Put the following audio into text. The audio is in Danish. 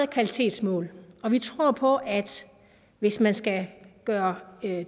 kvalitetsmål og vi tror på at hvis man skal gøre